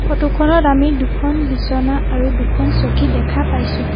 ফটোখনত আমি দুখন বিছনা আৰু দুখন চকী দেখা পাইছোঁ।